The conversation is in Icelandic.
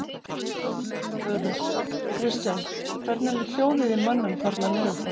Þulur: Kristján, hvernig er hljóðið í mönnum þarna niður frá?